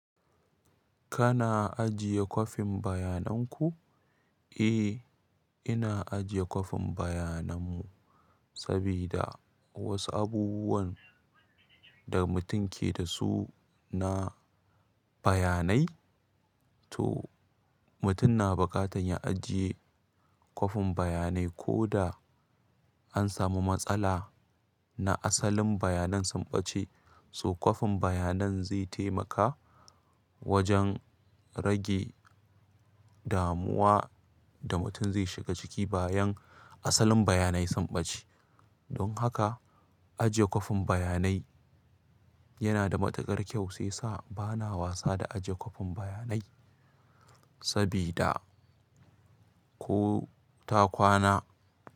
Kana ajiye kwafin bayanan ku? Eh, ina ajiye kwafin bayanan mu sabida wasu abubuwan da mutum ke da su na. Bayanai, to mutum na buƙatar ya ajiye kwafin bayanai. Ko da an samu matsala na asalin bayanan sun ɓace, so kwafin bayanan zai taimaka wajen rage damuwa da mutum zai shiga ciki bayan asalin bayanai sun ɓace. Don haka ajiye kwafin bayanai yana da matuƙar kyau, shi yasa bana wasa da ajiye kwafin bayanai sabida ko ta kwana.